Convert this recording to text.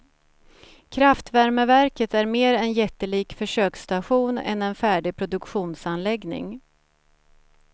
Kraftvärmeverket är mer en jättelik försöksstation än en färdig produktionsanläggning.